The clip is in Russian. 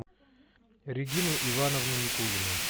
регину ивановну никулину